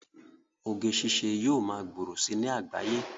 Oge ṣiṣẹ́ yóò ma gbòòrò si ní àgbáyé